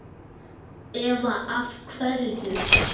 Eva: Af hverju?